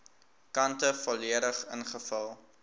kante volledig ingevul